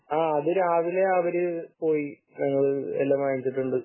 ആഹ് അത് രാവിലെ അവര് പോയി എല്ലാം വാങ്ങിച്ചിട്ടുണ്ട്